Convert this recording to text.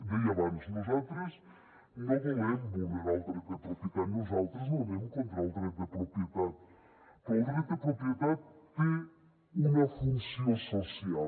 deia abans nosaltres no volem vulnerar el dret de propietat nosaltres no anem contra el dret de propietat però el dret de propietat té una funció social